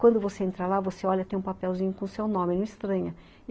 Quando você entra lá, você olha, tem um papelzinho com o seu nome, não estranha.